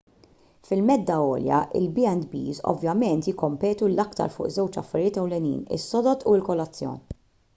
fil-medda għolja il-b&bs ovvjament jikkompetu l-aktar fuq żewġ affarijiet ewlenin: is-sodod u l-kolazzjon